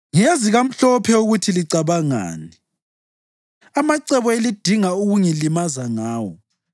Ngiyazi kamhlophe ukuthi licabangani, amacebo elidinga ukungilimaza ngawo.